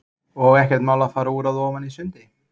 Birta: Og ekkert mál að fara úr að ofan í sundi?